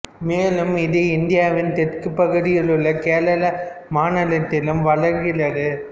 மேலும் இது இந்தியாவின் தெற்குப் பகுதியிலுள்ள கேரள மாநிலத்திலும் வளர்கிறது